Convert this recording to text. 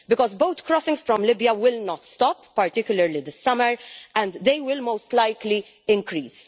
Because boat crossings from Libya will not stop, particularly in the summer, and they will most likely increase.